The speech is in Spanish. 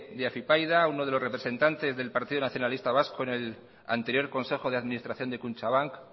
de afypaida uno de los representantes del partido nacionalista vasco en el anterior consejo de administración de kutxabank